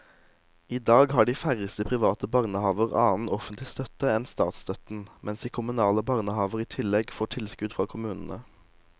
I dag har de færreste private barnehaver annen offentlig støtte enn statsstøtten, mens de kommunale barnehavene i tillegg får tilskudd fra kommunene.